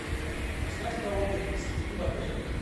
узнать про отдых с детьми в отеле